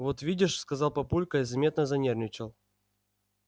вот видишь сказал папулька и заметно занервничал